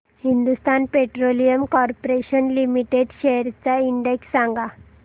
Hindustan petroleum corporation limited shares चा index सांगा